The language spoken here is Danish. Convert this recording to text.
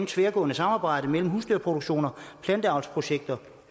tværgående samarbejde mellem husdyrproduktioner planteavlsprojekter